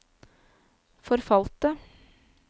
forfalte